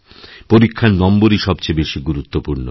পরীক্ষারনম্বরই সবচেয়ে বেশি গুরুত্বপূর্ণ